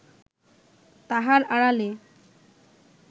তাহার আড়ালে